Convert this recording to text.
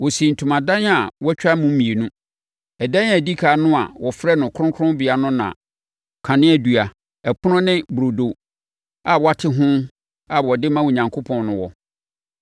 Wɔsii ntomadan a wɔatwa mu mmienu. Ɛdan a ɛdi ɛkan no a wɔfrɛ no Kronkronbea no na kaneadua, ɛpono ne burodo a wɔate ho a wɔde ma Onyankopɔn no wɔ.